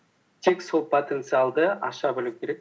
тек сол потенциалды аша білу керек